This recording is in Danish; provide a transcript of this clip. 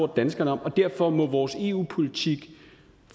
danskerne om og derfor må vi i vores eu politik